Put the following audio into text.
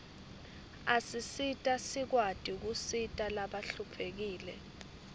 asisita sikwati kusita labahluphekile